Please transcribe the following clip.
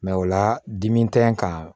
Mɛ o la dimi tɛ n kan